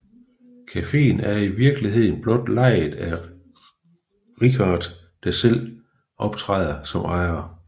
Cafeen er i virkeligheden blot lejet af Richard der selv optræder som ejer